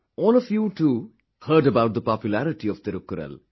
All of you too heard about the populairity of Thirukkural